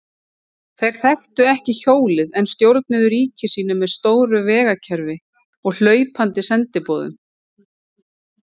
Þeir þekktu ekki hjólið en stjórnuðu ríki sínu með stóru vegakerfi og hlaupandi sendiboðum.